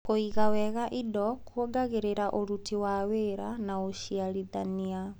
Kũiga wega indo kũongagĩrĩra ũruti wa wĩra na ũciarithania.